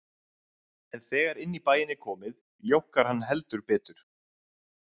En þegar inn í bæinn er komið, ljókkar hann heldur betur.